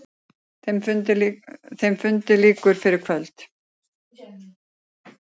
Þeim fundi lýkur fyrir kvöld.